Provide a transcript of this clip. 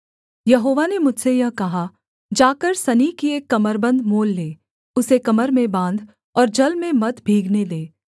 यहोवा ने मुझसे यह कहा जाकर सनी की एक कमरबन्द मोल ले उसे कमर में बाँध और जल में मत भीगने दे